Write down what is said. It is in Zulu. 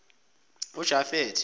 jafethe